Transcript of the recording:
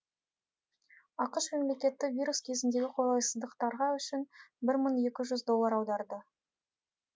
ақш мемлекеті вирус кезіндегі қолайсыздықтарға үшін бір мың екі жүз доллар аударды